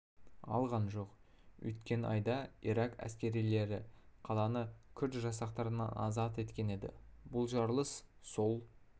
алған жоқ өткен айда ирак әскерилері қаланы күрд жасақтарынан азат еткен еді бұл жарылыс сол